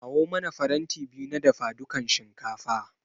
Kawo mana faranti biyu na dafadukan shinkafa.